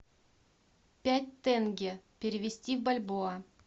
пять тенге перевести в бальбоа